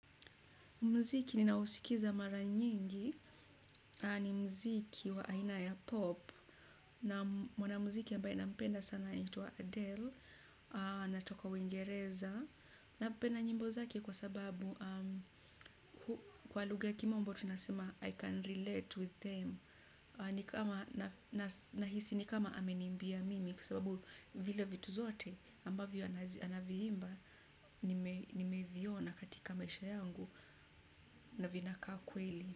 Muziki ninaousikiza mara nyingi, ni muziki wa aina ya pop, na mwanamuziki ambaye nampenda sana anaitwa Adele, anatokoa uingereza. Napenda nyimbo zake kwa sababu kwa luga kimombo tunasema I can relate with them, na hisi ni kama amenimbia mimi kusababu vile vitu zote ambavyo anaviimba nimeviona katika maisha yangu na vinaka kweli.